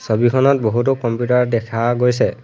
ছবিখনত বহুতো কম্পিউটাৰ দেখা গৈছে।